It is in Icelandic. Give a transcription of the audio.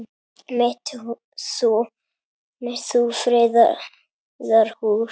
mitt þú friðar hús.